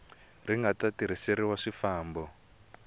ri nga ta tirhiseriwa swifambo